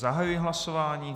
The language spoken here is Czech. Zahajuji hlasování.